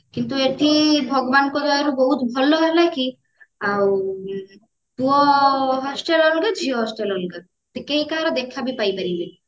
କିନ୍ତୁ ଏଠି ଭଗବାନଙ୍କ ଦୟାରୁ ବହୁତ ଭଲ ହେଲାକି ଆଉ ପୁଅ hostel ଅଲଗା ଝିଅ hostel ଅଲଗା ଟିକେ କାହାର ଦେଖାବି ପାଇ ପାଇପାରିବେନି